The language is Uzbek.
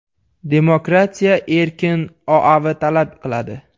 Demokratiya erkin OAV talab qiladi.